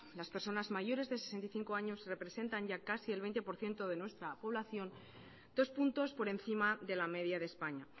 las personas mayores de sesenta y cinco años representan ya casi el veinte por ciento de nuestra población dos puntos por encima de la media de españa